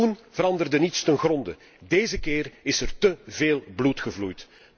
Toen veranderde niets ten gronde, deze keer is er te veel bloed gevloeid.